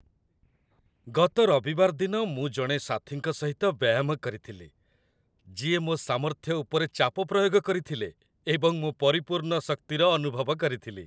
ଗତ ରବିବାରଦିନ ମୁଁ ଜଣେ ସାଥୀଙ୍କ ସହିତ ବ୍ୟାୟାମ କରିଥିଲି, ଯିଏ ମୋ ସାମର୍ଥ୍ୟ ଉପରେ ଚାପ ପ୍ରୟୋଗ କରିଥିଲେ, ଏବଂ ମୁଁ ପରିପୂର୍ଣ୍ଣ ଶକ୍ତିର ଅନୁଭବ କରିଥିଲି